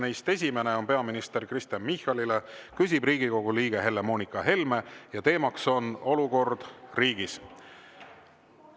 Esimene küsimus on peaminister Kristen Michalile, küsib Riigikogu liige Helle-Moonika Helme ja teemaks on olukord riigis.